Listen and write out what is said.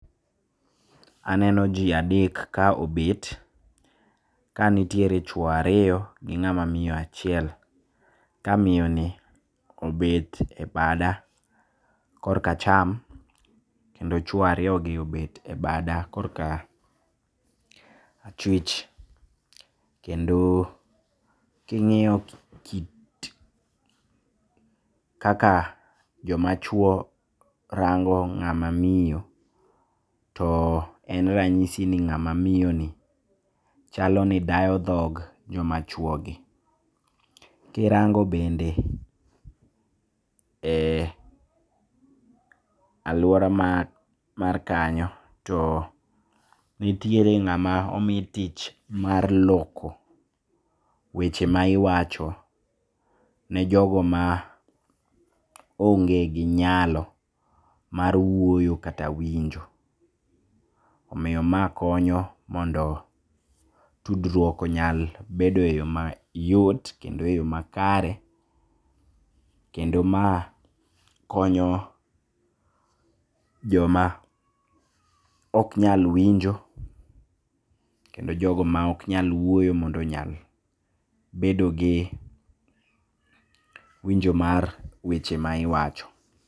Aneno jii adek kaobet kanitiere chwo ariyo gi ng'ama miyo achiel. Kamiyoni obet e bada korka acham, kendo chwo ariyogi obet e bada korka achwich, kendo king'iyo kit kaka jomachwo rango ng'ama miyo, to en ranyisi ni ng'ama miyoni chaloni dayo dhog jomachwogi. Kirango bende e aluora mar kanyo to nitiere ng'ama omi tich mar loko weche maiwacho ne jogo maonge gi nyalo mar wuoyo kata winjo. Omiyo ma konyo mondo tudruok onyal bedo e yo mayot kendo e yo makare, kendo ma konyo joma oknyal winjo, kendo jogo maoknyal wuoyo mondo onyal bedogi winjo mar weche maiwacho.